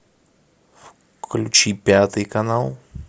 включи пятый канал